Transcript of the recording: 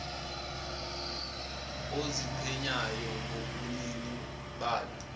oziqhenyayo ngobunini balo